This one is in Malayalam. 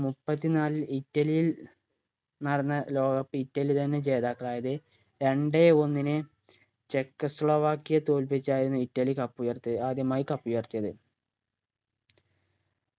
മുപ്പത്തിനാലിൽ ഇറ്റലിയിൽ നടന്ന ലോക cup ഇറ്റലി തന്നെ ജേതാക്കളായത് രണ്ടേ ഒന്നിന് ചെക്കോസ്ലോവാക്കിയെ തോൽപ്പിച്ചായിരുന്നു ഇറ്റലി cup ഉയർത്തിയത് ആദ്യമായി cup ഉയർത്തിയത്